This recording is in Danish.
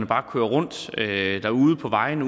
bare kører rundt derude på vejene